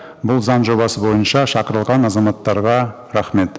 бұл заң жобасы бойынша шақырылған азаматтарға рахмет